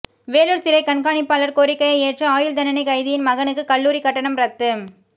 வேலூர் சிறை கண்காணிப்பாளர் கோரிக்கையை ஏற்று ஆயுள் தண்டனை கைதியின் மகனுக்கு கல்லூரி கட்டணம் ரத்து